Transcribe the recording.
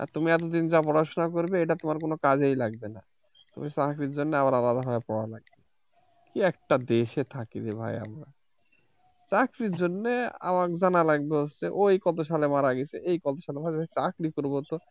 তুমি এতো দিন যা পড়া শোনা করবে তা কোন কাজেই লাগবে না চাকরির জন্য আবার আলাদা ভাবে পড়া লাগবে একটা দেশে থাকরে ভাই আমার চাকরির জন্যে আমার জানা লাগবে হচ্ছে ঐ কত সালে মারা গেছে এই কত সালে মারা গেছে চাকরি করবো তো